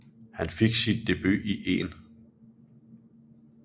Han fik sin debut i 1